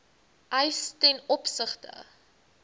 eis ten opsigte